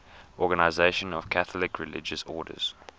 organisation of catholic religious orders